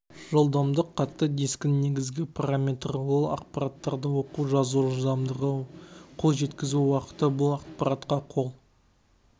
жылдамдық қатты дискінің негізгі параметрі ол ақпараттарды оқу жазу жылдамдығы қол жеткізу уақыты бұл ақпаратқа қол